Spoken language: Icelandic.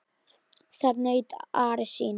Þar naut Ari sín.